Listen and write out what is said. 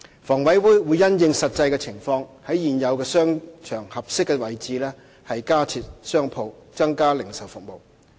房委會會因應實際情況，在現有商場合適的位置加設商鋪，增加零售服務。